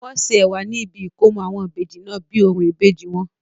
wọ́n ṣe ẹ̀wà ní ibi ìkómọ àwọn Ìbejì náà bíi orò ìbejì wọn